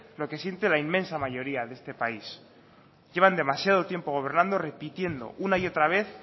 lo que sienten la inmensa mayoría de este país llevan demasiado tiempo gobernando repitiendo una y otra vez